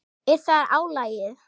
Er það álagið?